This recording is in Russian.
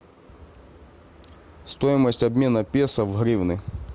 стоимость обмена песо в гривны